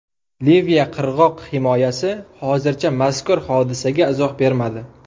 Liviya qirg‘oq himoyasi hozircha mazkur hodisaga izoh bermadi.